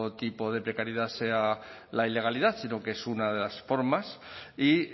tipo de precariedad sea la ilegalidad sino que es una de las formas y